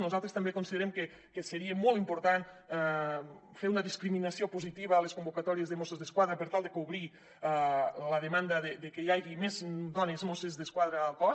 nosaltres també considerem que seria molt important fer una discriminació positiva en les convocatòries de mossos d’esquadra per tal de cobrir la demanda que hi hagi més dones mosses d’esquadra al cos